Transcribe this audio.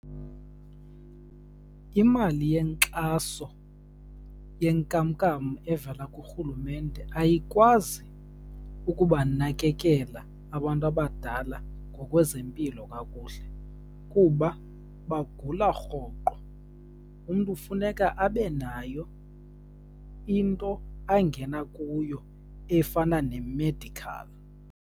Imali yenkxaso yenkamnkam evela kurhulumente ayikwazi ukubanakekela abantu abadala ngokwezempilo kakuhle, kuba bagula rhoqo. Umntu funeka abe nayo into angena kuyo efana nemedikhali.